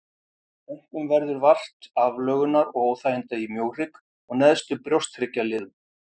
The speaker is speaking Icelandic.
Einkum verður vart aflögunar og óþæginda í mjóhrygg og neðstu brjósthryggjarliðum.